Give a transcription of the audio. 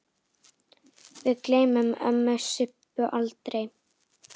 Við gleymum ömmu Sibbu aldrei.